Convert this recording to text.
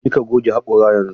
Je ka ka goge haƙora yanzu!